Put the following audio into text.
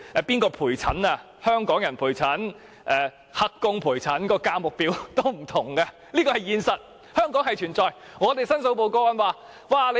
由香港人還是"黑工"陪診，價錢是不同的，這是香港存在的現實問題。